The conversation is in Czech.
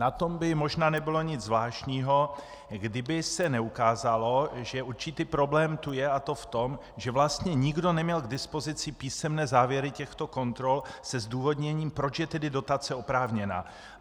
Na tom by možná nebylo nic zvláštního kdyby se neukázalo, že určitý problém tu je, a to v tom, že vlastně nikdo neměl k dispozici písemné závěry těchto kontrol se zdůvodněním, proč je tedy dotace oprávněná.